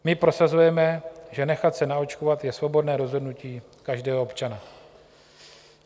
My prosazujeme, že nechat se naočkovat je svobodné rozhodnutí každého občana.